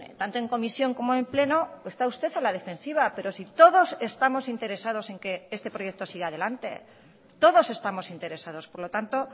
tanto en comisión como en pleno está usted a la defensiva pero si todos estamos interesados en que este proyecto siga adelante todos estamos interesados por lo tanto